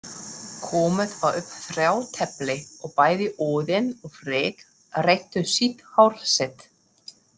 Komið var upp þrátefli og bæði Óðinn og Frigg reyttu sítt hár sitt.